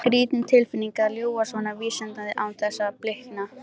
Skrýtin tilfinning að ljúga svona vísvitandi án þess að blikna.